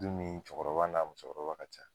Dun min cɛkɔrɔba n'a musokɔrɔba ka ca.